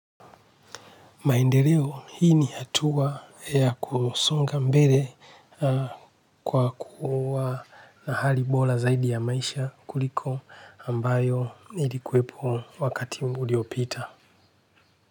Maendeleo hii ni hatuwa ya kusonga mbele kwa kuwa na hali bola zaidi ya maisha kuliko ambayo ilikuwepo wakati uliopita.